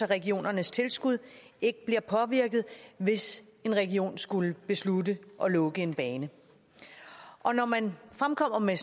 regionernes tilskud ikke bliver påvirket hvis en region skulle beslutte at lukke en bane når man fremkommer med